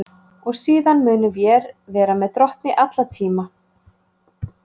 Og síðan munum vér vera með Drottni alla tíma.